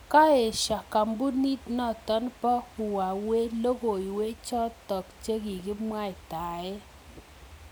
Kaeshoo kampunit notok poo huwawei logoiwek chotoko kikimwaitae